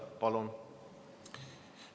Palun!